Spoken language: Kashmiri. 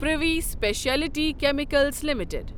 privy speciality chemicals limited